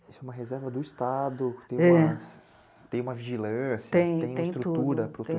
Isso é uma reserva do Estado... É. Tem uma vigilância... Tem, tem tudo, tem... Tem estrutura para o